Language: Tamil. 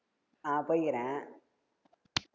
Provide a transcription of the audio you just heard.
ஆஹ் போயிருக்கே